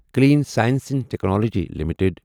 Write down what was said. clean science and technology limited